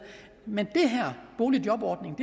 men den her boligjobordning